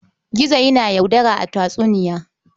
Gizo yana yaudara a tatsuniya.